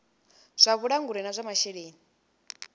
zwa vhulanguli na zwa masheleni